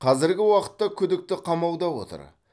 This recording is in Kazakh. қазіргі уақытта күдікті қамауда отыр